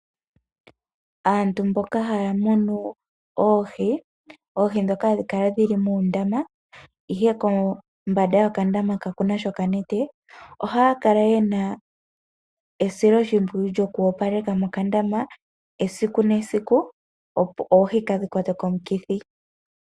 Aantu mboka haya munu oohi, oohi ndhoka hadhi kala dhili muundama ihe kombanda yokandama kaku na sha okanete, ohaya kala yena esiloshimpwiyu lyoku opaleka mokandama esiku nesiku, opo oohi kaadhi kwatwe komukithi.